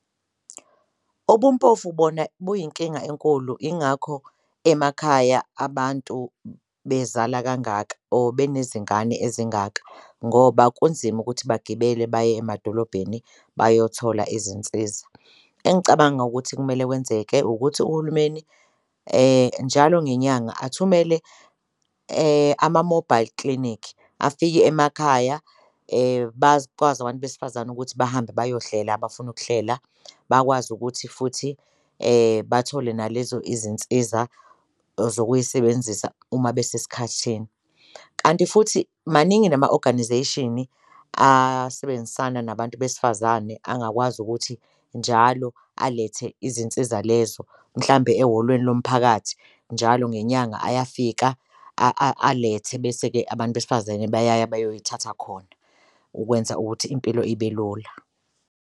Ubumpofu bona buyinkinga enkulu ingakho emakhaya abantu bezala kangaka or benezingane ezingaka ngoba kunzima ukuthi bagibele baye emadolobheni bayothola izinsiza. Engicabanga ukuthi kumele kwenzeke ukuthi uhulumeni njalo ngenyanga athumele ama-mobile clinic afike emakhaya, bakwazi abantu besifazane ukuthi bahambe bayohlela abafuna ukuhlela, bakwazi ukuthi futhi bathole nalezo izinsiza zokuyisebenzisa uma besesikhathini. Kanti futhi maningi nama-organisation asebenzisana nabantu besifazane angakwazi ukuthi njalo alethe izinsiza lezo mhlambe ehholweni lomphakathi njalo ngenyanga ayafika alethe, bese-ke abantu besifazane bayaya bayoyithatha khona ukwenza ukuthi impilo ibe lula.